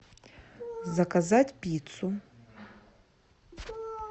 заказать пиццу